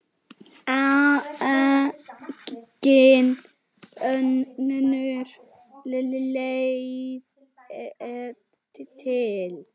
Engin önnur leið er til.